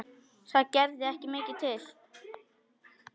Það gerði ekki mikið til.